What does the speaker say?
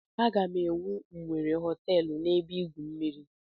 M ga-ewu nwere họteelụ na ebe igwu mmiri